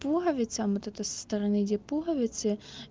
пуговицам вот это со стороны пуговицы